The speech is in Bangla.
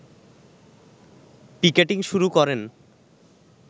পিকেটিং শুরু করেন